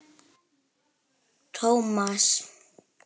Thomas, já.